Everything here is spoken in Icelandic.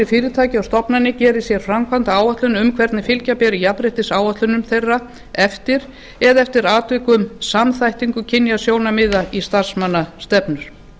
og stofnanir geri sér framkvæmdaáætlun um hvernig fylgja beri jafnréttisáætlunum þeirra eftir eða eftir atvikum samþættingu kynjasjónarmiða í starfsmannastefnu